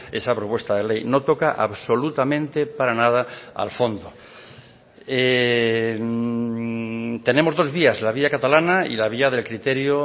esa propuesta de ley no toca absolutamente para nada al fondo tenemos dos vías la vía catalana y la vía del criterio